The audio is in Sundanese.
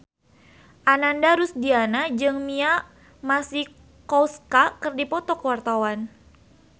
Ananda Rusdiana jeung Mia Masikowska keur dipoto ku wartawan